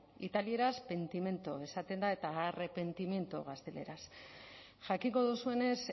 italieraz pentimento esaten da eta arrepentimiento gazteleraz jakingo duzuenez